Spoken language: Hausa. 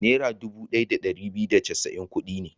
Naira dubu ɗaya da ɗari biyu da casa'in kuɗi ne.